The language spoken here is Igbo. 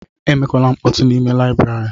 Emekwala nkpọtu n'ime layibiri!